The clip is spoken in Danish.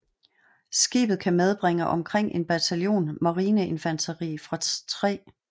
Skibet kan medbringe omkring en bataljon marineinfanteri fra 3